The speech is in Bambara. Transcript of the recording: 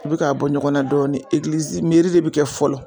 U bi k'a bɔ ɲɔgɔnna dɔɔnin de bi kɛ fɔlɔ